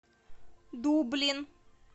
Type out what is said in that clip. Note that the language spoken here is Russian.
дублин